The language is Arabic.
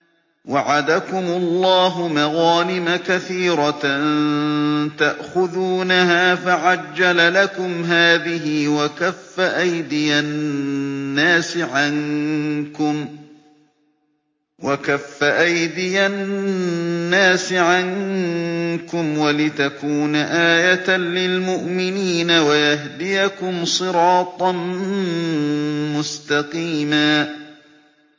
وَعَدَكُمُ اللَّهُ مَغَانِمَ كَثِيرَةً تَأْخُذُونَهَا فَعَجَّلَ لَكُمْ هَٰذِهِ وَكَفَّ أَيْدِيَ النَّاسِ عَنكُمْ وَلِتَكُونَ آيَةً لِّلْمُؤْمِنِينَ وَيَهْدِيَكُمْ صِرَاطًا مُّسْتَقِيمًا